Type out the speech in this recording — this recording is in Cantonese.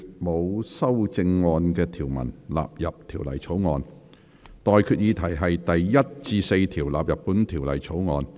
我現在向各位提出的待決議題是：第1至4條納入本條例草案。